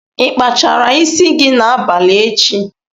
Ịkpachara isi gị n'abalị echi?